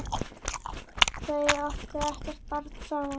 Þau áttu ekkert barn saman.